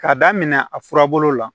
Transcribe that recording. K'a daminɛ a furabulu la